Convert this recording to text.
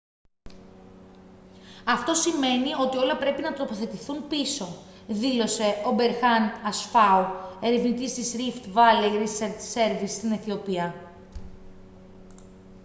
«αυτό σημαίνει ότι όλα πρέπει να τοποθετηθούν πίσω» δήλωσε ο berhane asfaw ερευνητής της rift valley research service στην αιθιοπία